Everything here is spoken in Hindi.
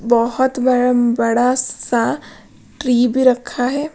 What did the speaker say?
बहुत बड़ा बड़ा सा ट्री भी रखा है।